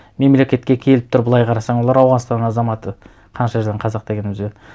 мемлекетке келіп тұр былай қарасаң олар ауғанстан азаматы қанша жерден қазақ дегенімізбен